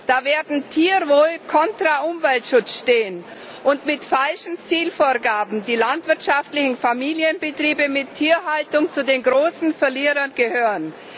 Da wird Tierwohl contra Umweltschutz stehen und mit falschen Zielvorgaben werden die landwirtschaftlichen Familienbetriebe mit Tierhaltung zu den großen Verlierern gehören.